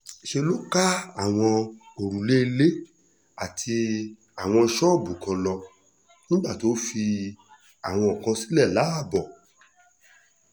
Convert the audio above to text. ṣe ló ká àwọn òrùlé ilé àtàwọn ṣọ́ọ̀bù kan lọ pátápátá nígbà tó fi àwọn mí-ín sílẹ̀ láàbò